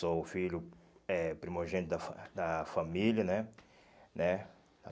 Sou o filho eh primogênito da fa da família né, né?